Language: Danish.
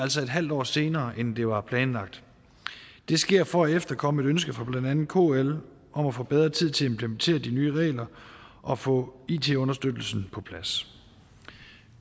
altså en halv år senere end det var planlagt det sker for at efterkomme et ønske fra blandt andet kl om at få bedre tid til at implementere de nye regler og få it understøttelsen på plads